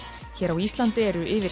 á Íslandi er yfir